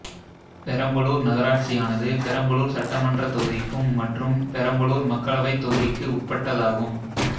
பெரம்பலூர் நகராட்சியானது பெரம்பலூர் சட்டமன்றத் தொகுதிக்கும் மற்றும் பெரம்பலூர் மக்களவைத் தொகுதிக்கு உட்பட்டதாகும்